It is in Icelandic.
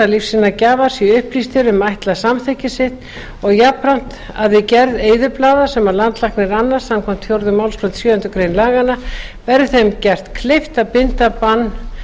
lífsýnagjafar séu upplýstir um ætlað samþykki sitt og jafnframt að við gerð eyðublaða sem landlæknir annast samkvæmt fjórðu málsgrein sjöundu grein laganna verði þeim gert kleift að binda bann